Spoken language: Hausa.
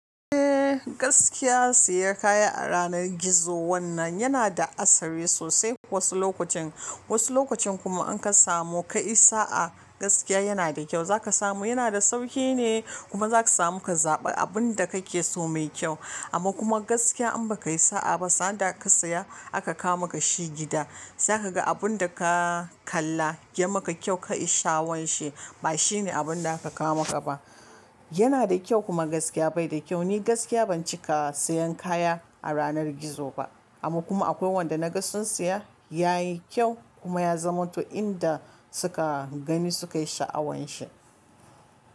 Eh gaskiya siyan kaya a yanar gizo wannan yana da asali sosai. Wasu lokacin wasu lokacin kuma an ka samu kayi sa a gaskiya yana da kyau. Za ka samu yana da sauki ne kuma za ka samu ka zaɓa abun da kake so mai kyau. Amma kuma gaskiya in baka yi sa'a ba, sanda ka siya aka kawo maka shi gida, za ka ga abun da ka kalla ya maka kyau ka yi sha'awan shi ba shine abin da aka kawo maka ba. Yana da kyau kuma gaskiya bai da kyau. Ni gaskiya ban cika sayan kaya a yanar gizo ba. Amma kuma akwai wanda na ga sun siya ya yi kyau kuma ya zama to in da suka gani suka yi sha'awan shi.